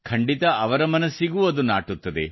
ಖಂಡಿತ ಅವರ ಮನಸ್ಸಿಗೂ ಅದು ನಾಟುತ್ತದೆ